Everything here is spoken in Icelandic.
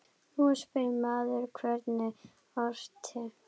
Nú spyr maður: Hver orti?